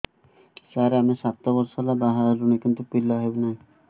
ସାର ଆମେ ସାତ ବର୍ଷ ହେଲା ବାହା ହେଲୁଣି କିନ୍ତୁ ପିଲା ହେଉନାହିଁ